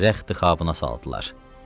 Rəxti Xabına saldılar.